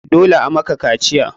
Dole a maka kaciya!